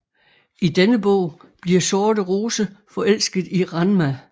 I denne bog bliver sorte rose forelsket i Ranma